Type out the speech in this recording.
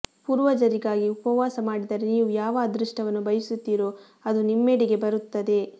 ಪೂರ್ವಜರಿಗಾಗಿ ಉಪವಾಸ ಮಾಡಿದರೆ ನೀವು ಯಾವ ಅದೃಷ್ಟವನ್ನು ಬಯಸುತ್ತೀರೋ ಅದು ನಿಮ್ಮೆಡೆಗೆ ಬರುತ್ತದೆ